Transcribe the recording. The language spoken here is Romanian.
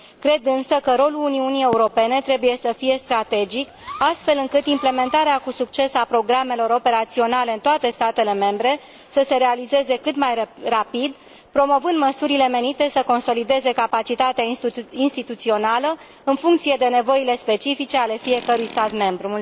Cred, însă, că rolul Uniunii Europene trebuie să fie strategic, astfel încât implementarea cu succes a programelor operaționale în toate statele membre să se realizeze cât mai rapid, promovând măsurile menite să consolideze capacitatea instituțională în funcție de nevoile specifice ale fiecărui stat membru